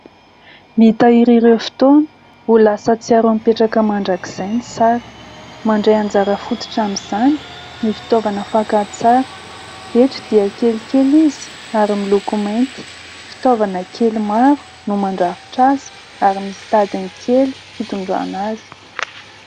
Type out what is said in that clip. Mitahiry ireo fotoana ho lasa tsiaro mipetraka mandrakizay ny sary. Mandray anjara fototra amin'izany ny fitaovana fakantsary : eto dia kelikely izy ary miloko mainty fitaovana kely maro no mandrafitra azy ary misy tadiny kely fitondrana azy.